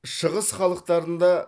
шығыс халықтарында